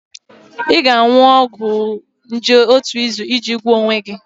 Ị ga-aṅụ ọgwụ nje otu izu iji gwọọ onwe gị